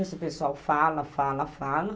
Esse pessoal fala, fala, fala.